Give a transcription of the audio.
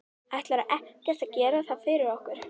Ætlarðu ekkert að gera það fyrir okkur?